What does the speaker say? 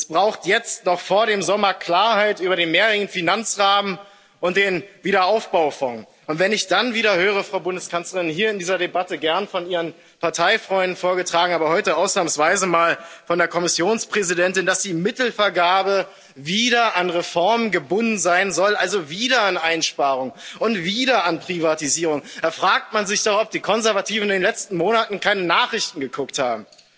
Es braucht jetzt noch vor dem Sommer Klarheit über den mehrjährigen Finanzrahmen und den Aufbaufonds. Wenn ich dann wieder höre, Frau Bundeskanzlerin hier in dieser Debatte gern von Ihren Parteifreunden vorgetragen, aber heute ausnahmsweise mal von der Kommissionspräsidentin dass die Mittelvergabe wieder an Reformen gebunden sein soll, also wieder an Einsparungen und wieder an Privatisierung, da fragt man sich doch, ob die Konservativen in den letzten Monaten keine Nachrichten geguckt haben.